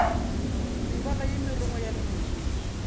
mebala ye merongwana ya mootlwa